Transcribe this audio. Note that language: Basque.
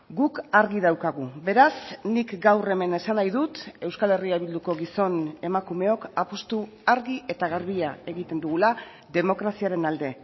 guk argi daukagu beraz nik gaur hemen esan nahi dut euskal herria bilduko gizon emakumeok apustu argi eta garbia egiten dugula demokraziaren alde